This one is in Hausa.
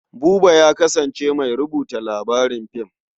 Buba ya kasance mai rubuta labarin fim.